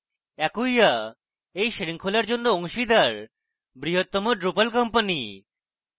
acquia এই শৃঙ্খলার জন্য অংশীদার বৃহত্তম drupal company